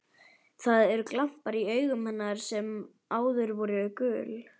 Það eru glampar í augum hennar sem áður voru gul.